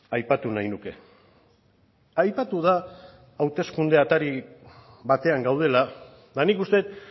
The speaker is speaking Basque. aipatu nahi nuke aipatu da hauteskunde atari batean gaudela eta nik uste dut